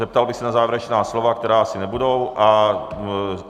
Zeptal bych se na závěrečná slova, která asi nebudou.